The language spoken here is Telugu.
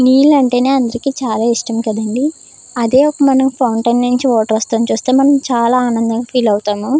నీలాంటినే అందరికీ చాలా ఇష్టం కదండీ. అదే ఒక మనం ఫౌంటైన్ నుంచి వాటర్ వస్తుండడం చూస్తే మనం చాలా ఆనందం ఫీల్ అవుతాము.